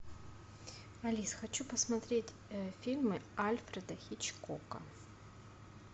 алис хочу посмотреть фильмы альфреда хичкока